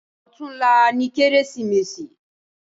Òtúnlá ni Kérésimési